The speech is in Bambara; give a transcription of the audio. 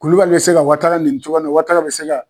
Kulubali bɛ se ka Watara nɛni cogoya min na Watara bɛ se ka.